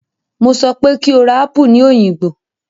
Mo sọ pé kó ra apù ní Òyìngbò!